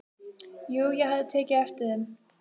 Jú, ég hafði tekið eftir þeim.